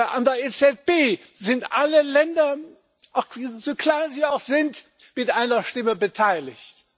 An der EZB sind alle Länder, so klein sie auch sind, mit einer Stimme beteiligt.